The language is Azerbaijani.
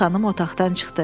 Gənc xanım otaqdan çıxdı.